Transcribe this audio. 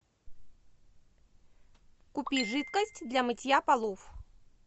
купи жидкость для мытья полов